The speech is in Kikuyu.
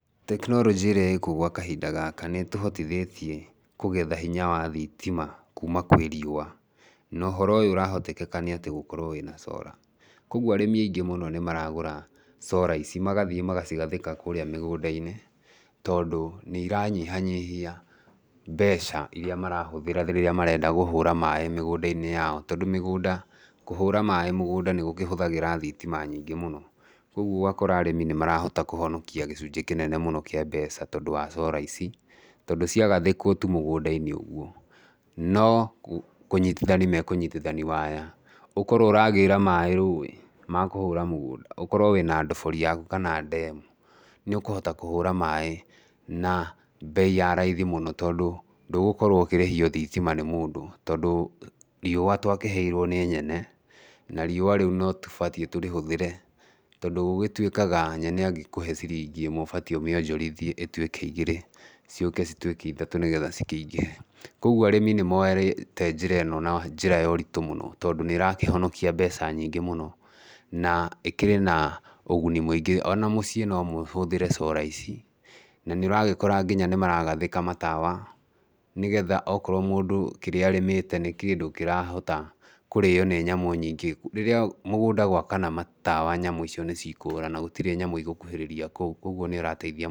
Tekinoronjĩ ĩrĩa ĩkuo gwa kahinda gaka nĩ ĩtũhotithĩtie kũgetha hinya wa thitima kuuma kwĩ riũa, na ũhoro ũyũ ũrahotekeka nĩ atĩ gũkorwo wĩna solar [cs, koguo arĩmi aingĩ mũno nĩ maragũra solar ici, magathiĩ magacigathĩka kũrĩa mĩgũnda-inĩ tondũ nĩ iranyihanyihia mbeca, iria marahũthĩra rĩrĩa marenda kũhũra maĩ mĩgũnda-inĩ yao, tondũ mĩgũnda kũhũra maĩ mũgũnda nĩ kũhũthaĩra thitima nyingĩ mũno, koguo ũgakora arĩmi nĩ marahota kũhonokia gĩcunjĩ kĩnene mũno kĩa mbeca tondũ wa solar ici, tondũ cia gathĩkwo tu mũgũnda-inĩ ũguo, no kũnyitithania makũnyitithania waya, ũkorwo ũragĩra maĩ rũĩ, makũhũra mũgũnda, ũkorwo wĩna ndobori yaku kana ndemu, nĩ ũkũhota kũhũra maĩ na mbei ya raithi mũno tondũ ndũgũkorwo ũkĩrĩhio thitima nĩ mũndũ, tondũ riũa twakĩheirwo nĩ Nyene, na riũa rĩu no tũbatie tũrĩhũthĩre, tondũ gũgĩtuĩkaga Nyene angĩkũhe ciringi ĩmwe ũbatie ũmĩonjorithie ĩtuĩke igĩrĩ, ciũke cituĩke ithatũ nĩgetha cikĩingĩhe. Koguo arĩmi nĩ moete njĩra ĩno na njĩra ya ũritũ mũno tondũ nĩ ĩrakĩhonokia mbeca nyingĩ mũno, na ĩkĩrĩ na ũguni mũingĩ, ona mũciĩ no mũhũthĩre solar ici, na nĩũragĩkora nginya nĩ maragathĩka matawa, nĩgetha okorwo mũndũ kĩrĩa arĩmĩte nĩ kĩndũ kĩrahota kũrĩo nĩ nyamũ nyingĩ, rĩrĩa mũgũnda gwakana matawa nyamũ icio nĩ cikũra na gũtirĩ nyamũ igũkuhĩrĩria kũu, koguo nĩ ĩrateithia.